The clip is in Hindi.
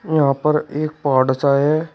यहां पर एक पहाड़ सा है।